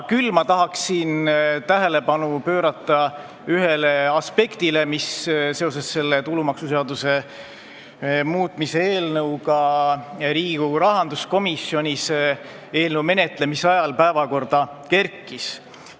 Küll tahan tähelepanu juhtida ühele aspektile, mis seoses selle tulumaksuseaduse muutmise eelnõuga Riigikogu rahanduskomisjonis päevakorda kerkis.